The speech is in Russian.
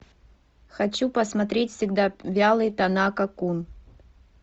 хочу посмотреть всегда вялый танака кун